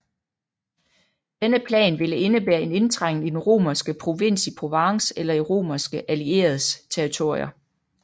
Denne plan ville indebære en indtrængen i den romerske provins i Provence eller i romerske allieredes territorier